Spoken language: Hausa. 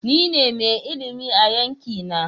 Ni ne mai ilimi a yanki na.